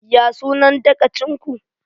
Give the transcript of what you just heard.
Ya sunan sabon dagacin ku?